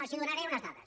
els donaré unes dades